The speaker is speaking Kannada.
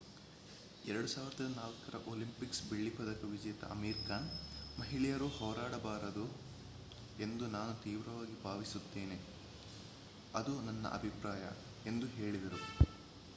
2004 ರ ಒಲಿಂಪಿಕ್ಸ್ ಬೆಳ್ಳಿ ಪದಕ ವಿಜೇತ ಅಮೀರ್ ಖಾನ್ ಮಹಿಳೆಯರು ಹೋರಾಡಬಾರದು ಎಂದು ನಾನು ತೀವ್ರವಾಗಿ ಭಾವಿಸುತ್ತೇನೆ ಅದು ನನ್ನ ಅಭಿಪ್ರಾಯ ಎಂದು ಹೇಳಿದರು